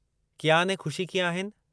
कियान ऐं ख़ुशी कीअं आहिनि?